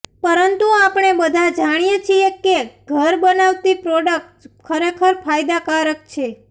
પરંતુ આપણે બધા જાણીએ છીએ કે ઘર બનાવતી પ્રોડક્ટ્સ ખરેખર ફાયદાકારક છે